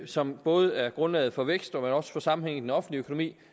som både er grundlaget for vækst og at få sammenhæng i den offentlige økonomi